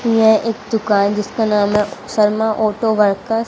यह एक दुकान है जिसका नाम है शर्मा ऑटो वर्क --